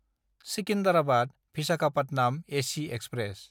सिकिन्डाराबाद–भिसाखापाटनाम AC express